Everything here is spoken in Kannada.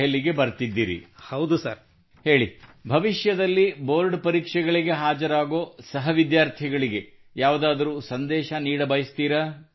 ಹೇಳಿ ಭವಿಷ್ಯದಲ್ಲಿ ಬೋರ್ಡ್ ಪರೀಕ್ಷೆಗಳಿಗೆ ಹಾಜರಾಗುವ ಸಹ ವಿದ್ಯಾರ್ಥಿಗಳಿಗೆ ಯಾವುದಾದರೂ ಸಂದೇಶ ನೀಡಬಯಸುತ್ತೀರಾ tell me do you have any message for fellow students who will give board exams in future